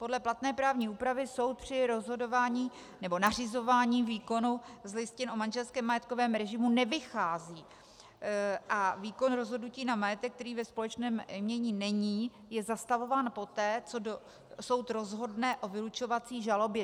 Podle platné právní úpravy soud při rozhodování nebo nařizování výkonu z listin o manželském majetkovém režimu nevychází a výkon rozhodnutí na majetek, který ve společném jmění není, je zastavován poté, co soud rozhodne o vylučovací žalobě.